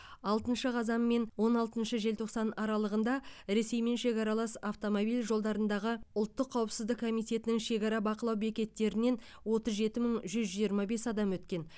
алтыншы қазан мен он алтыншы желтоқсан аралығында ресеймен шекаралас автомобиль жолдарындағы ұлттық қауіпсіздік комитетінің шекара бақылау бекеттерінен отыз жеті мың жүз жиырма бес адам өткен